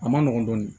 A ma nɔgɔ dɔɔnin